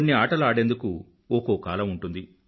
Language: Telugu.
కొన్ని ఆటలు ఆడేందుకు ఒకో కాలం ఉంటుంది